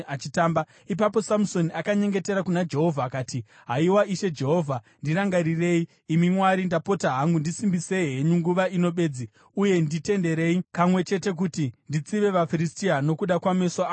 Ipapo Samusoni akanyengetera kuna Jehovha akati, “Haiwa Ishe Jehovha, ndirangarirei. Imi Mwari, ndapota hangu, ndisimbisei henyu nguva ino bedzi, uye nditenderei kamwe chete kuti nditsive vaFiristia nokuda kwameso angu maviri.”